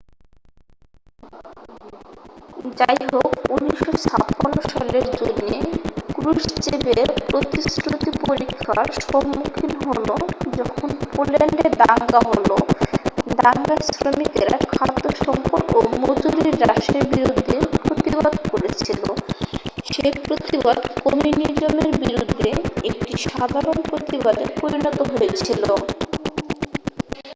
যাইহোক 1956 সালের জুনে ক্রুশ্চেভের প্রতিশ্রুতি পরীক্ষার সম্মুখীন হল যখন পোল্যান্ডে দাঙ্গা হল দাঙ্গায় শ্রমিকেরা খাদ্য সংকট ও মজুরি হ্রাসের বিরুদ্ধে প্রতিবাদ করছিল সেই প্রতিবাদ কমিউনিজমের বিরুদ্ধে একটি সাধারণ প্রতিবাদে পরিণত হয়েছিল